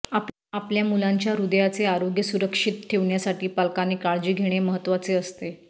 आपल्या मुलांच्या हृदयाचे आरोग्य सुरक्षित ठेवण्यासाठी पालकांनी काळजी घेणे महत्त्वाचे असते